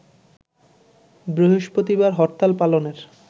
বৃহস্পতিবার হরতাল পালনের